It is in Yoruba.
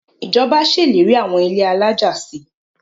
Ìjọba ṣèlérí àwọn ilé alájà si.